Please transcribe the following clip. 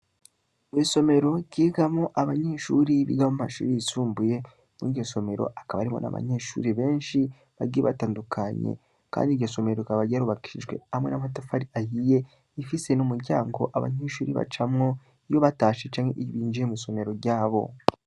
Mu isomero ryigamo abanyishuri bigama mashuri yisumbuye mu'igisomero akaba arimo n'abanyeshuri benshi bagie batandukanye, kandi igisomero rikaba ryarubakishijwe hamwe n'amatafari ayiye ifise n'umuryango abanyishuri bacamwo iyo batashe canke ibinjiye mu'isomero ryabo.